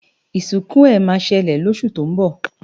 isinku he ma sele losu to nbo